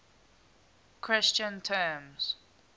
christian terms